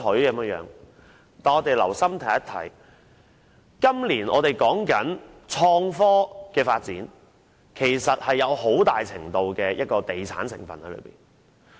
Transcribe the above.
但是，只要留心看看，便可發現今年提出的創科發展措施其實含有很大程度的地產項目成分。